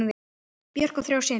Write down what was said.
Björk á þrjá syni.